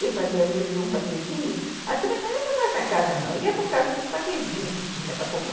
Eu fazia mil e um patezinhos, a turma não ia para a nossa casa não, ia para o caso dos patezinhos que tinha para comer.